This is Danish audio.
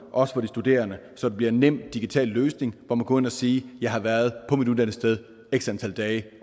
og for de studerende så det bliver en nem digital løsning hvor man går ind og siger jeg har været på mit uddannelsessted x antal dage